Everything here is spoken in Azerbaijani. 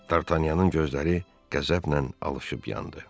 Dartanyanın gözləri qəzəblə alışıb yandı.